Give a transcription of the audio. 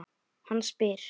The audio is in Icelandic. Hann spyr.